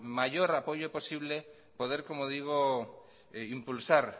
mayor apoyo posible poder como digo impulsar